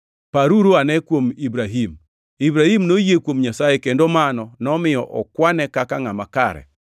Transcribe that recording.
Paruruane kuom Ibrahim: “Ibrahim noyie kuom Nyasaye kendo mano nomiyo okwane kaka ngʼama kare.” + 3:6 \+xt Chak 15:6\+xt*